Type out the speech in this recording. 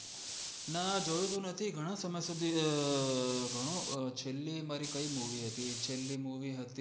ના જોયું તો નથી ઘણો સમય સુધી હમ ઘણો છેલ્લી મારી કય movie હતી? છેલ્લી movie હતી